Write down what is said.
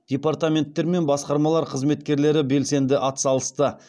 департаменттер мен басқармалар қызметкерлері белсенді атсалысты